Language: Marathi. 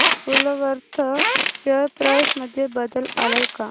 वूलवर्थ शेअर प्राइस मध्ये बदल आलाय का